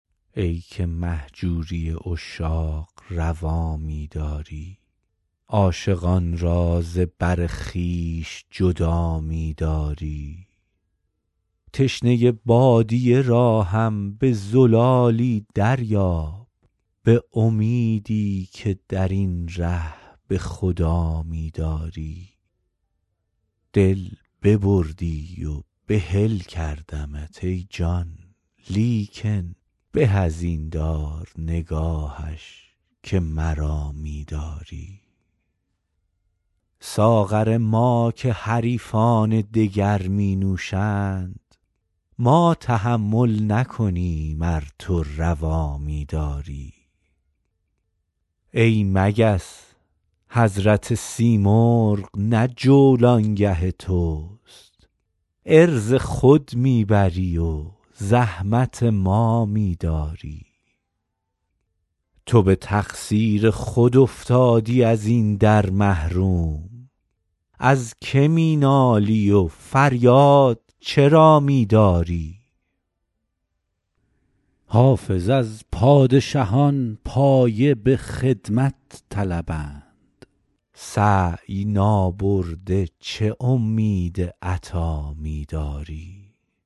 ای که مهجوری عشاق روا می داری عاشقان را ز بر خویش جدا می داری تشنه بادیه را هم به زلالی دریاب به امیدی که در این ره به خدا می داری دل ببردی و بحل کردمت ای جان لیکن به از این دار نگاهش که مرا می داری ساغر ما که حریفان دگر می نوشند ما تحمل نکنیم ار تو روا می داری ای مگس حضرت سیمرغ نه جولانگه توست عرض خود می بری و زحمت ما می داری تو به تقصیر خود افتادی از این در محروم از که می نالی و فریاد چرا می داری حافظ از پادشهان پایه به خدمت طلبند سعی نابرده چه امید عطا می داری